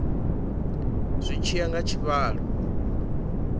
zwi tshi ya nga tshivhalo